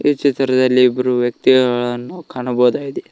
ಈ ಚಿತ್ರದಲ್ಲಿ ಇಬ್ಬರು ವ್ಯಕ್ತಿಗಳನ್ನು ನಾವು ಕಾಣಬಹುದಾಗಿದೆ.